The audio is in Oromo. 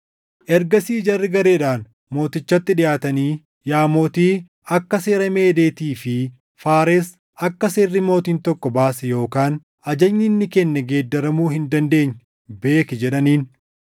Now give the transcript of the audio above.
Ergasii jarri gareedhaan mootichatti dhiʼaatanii, “Yaa mootii, akka seera Meedeetii fi Faares akka seerri mootiin tokko baase yookaan ajajni inni kenne geeddaramuu hin dandeenye beeki” jedhaniin.